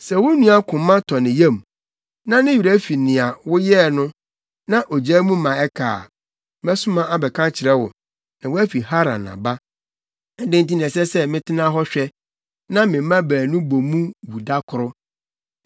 Sɛ wo nua koma tɔ ne yam, na ne werɛ fi nea woyɛɛ no, na ogyaa mu ma ɛka a, mɛsoma abɛka akyerɛ wo, na woafi Haran aba. Adɛn nti na ɛsɛ sɛ metena hɔ hwɛ, na me mma baanu bɔ mu wu da koro?”